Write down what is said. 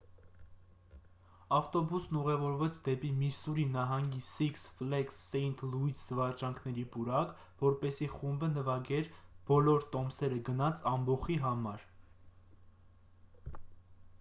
ավտոբուսն ուղևորվեց դեպի միսսուրի նահանգի սիքս ֆլեգս սեինթ լուիս զվարճանքների պուրակ որպեսզի խումբը նվագեր բոլոր տոմսերը գնած ամբոխի համար